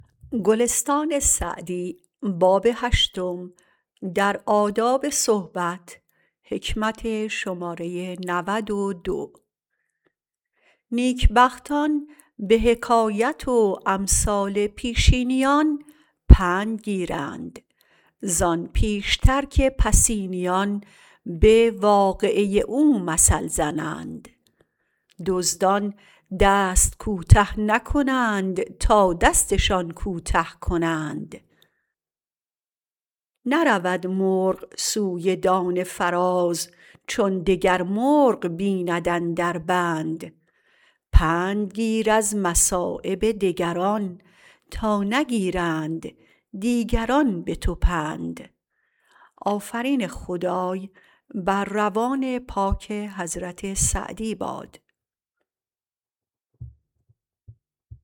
نیکبختان به حکایت و امثال پیشینیان پند گیرند زآن پیشتر که پسینیان به واقعه او مثل زنند دزدان دست کوته نکنند تا دستشان کوته کنند نرود مرغ سوی دانه فراز چون دگر مرغ بیند اندر بند پند گیر از مصایب دگران تا نگیرند دیگران به تو پند